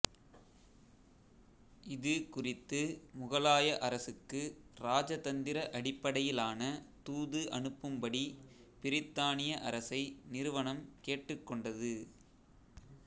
இது குறித்து முகலாய அரசுக்கு ராஜதந்திர அடிப்படையிலான தூது அனுப்பும்படி பிரித்தானிய அரசை நிறுவனம் கேட்டுக்கொண்டது